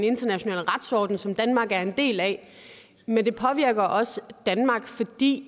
internationale retsorden som danmark er en del af men det påvirker også danmark fordi